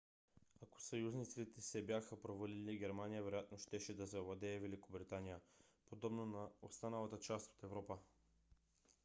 ако съюзниците се бяха провалили германия вероятно щеше да завладее великобритания подобно на останалата част от европа